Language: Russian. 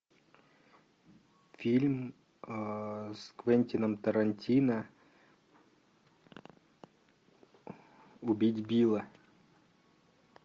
фильм с квентином тарантино убить билла